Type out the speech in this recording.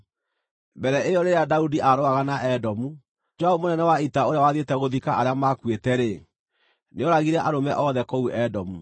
Mbere ĩyo rĩrĩa Daudi aarũaga na Edomu, Joabu mũnene wa ita, ũrĩa wathiĩte gũthika arĩa maakuĩte-rĩ, nĩooragire arũme othe kũu Edomu.